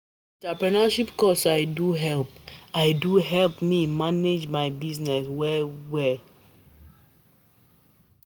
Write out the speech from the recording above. Na di entrepreneurship course I do help I do help me manage my business well-well.